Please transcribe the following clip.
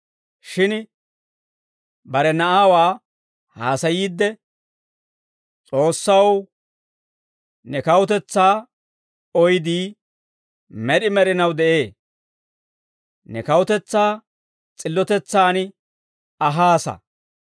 Shin bare Na'aawaa haasayiidde, «S'oossaw, ne kawutetsaa oydii, med'i med'inaw de'ee. Ne kawutetsaa s'illotetsaan ahaassa.